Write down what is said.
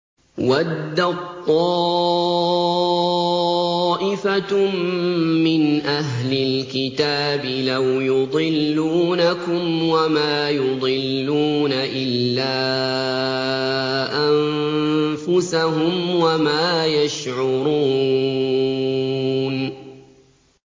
وَدَّت طَّائِفَةٌ مِّنْ أَهْلِ الْكِتَابِ لَوْ يُضِلُّونَكُمْ وَمَا يُضِلُّونَ إِلَّا أَنفُسَهُمْ وَمَا يَشْعُرُونَ